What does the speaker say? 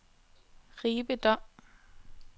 Ribe Dom